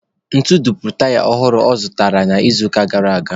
Ntu dupuru taya ọhụrụ ọ zụrụtara n'izuụka gara aga.